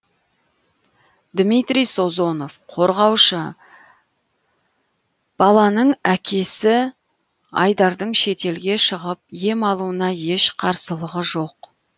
дмитрий созонов қорғаушы баланың әкесі айдардың шетелге шығып ем алуына еш қарсылығы жоқ